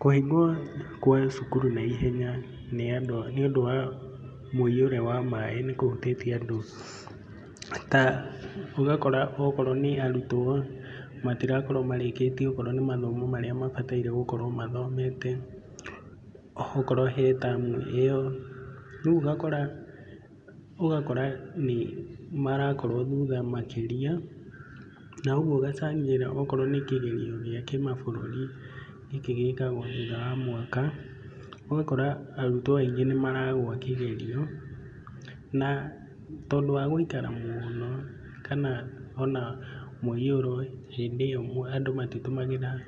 Kũhingwo kwa cukuru naihenya nĩ andũ a, nĩũndũ wa mũihũro wa maĩ nĩkũhutĩtie andũ ta ũgakora okorwo nĩ arutwo matirakorwo marĩkĩtie okorwo nĩ mathomo marĩa mabataire gũkorwo mathomete, okorwo he tamu ĩyo, rĩu ũgakora ũgakora nĩ marakorwo thutha makĩria na ũguo ũgacangĩra okorwo nĩ kĩgerio gĩa kĩmabũrũri gĩkĩ gĩkagwo thutha wa mwaka, ũgakora arutwo aingĩ nĩmaragwa kĩgerio na tondũ wa gũikara mũũno kana ona mũihũro hĩndĩ ĩyo and matitũmagĩra